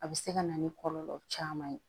A bɛ se ka na ni kɔlɔlɔ caman ye